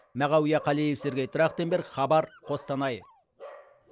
мағауия қалиев сергей трахтенберг хабар қостанай